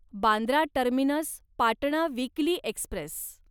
Bandra terminus Patna weekly Express